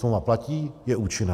Smlouva platí, je účinná.